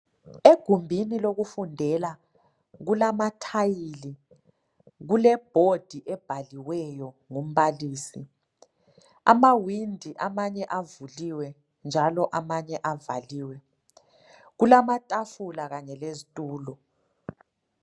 Egumbini lokufundela kulamathayili kulebhodi ebhaliweyo ngumbalisi amawindi amanye avuluwe njalo amanye avaliwe kulamatafula kanye lezitulo.